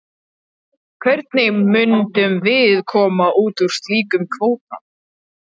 Hvernig myndum við koma út úr slíkum kvóta?